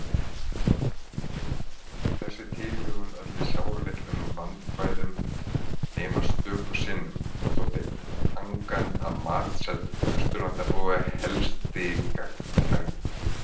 Þessi tilhögun olli sáralitlum vandkvæðum- nema stöku sinnum þótti angan af matseld Austurlandabúa helsti gagntæk.